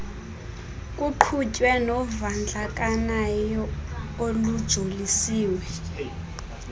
kuqhutywe novandlakanyo olujoliswe